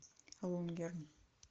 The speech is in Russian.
лунгерн